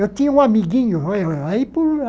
Eu tinha um amiguinho. ói ói ói